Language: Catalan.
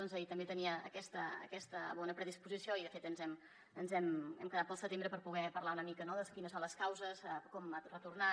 ahir també tenia aques·ta bona predisposició i de fet hem quedat pel setembre per poder parlar una mica no de quines són les causes de com ha retornat